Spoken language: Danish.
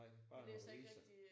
Nej bare nogle aviser